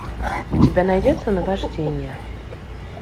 у тебя найдется наваждение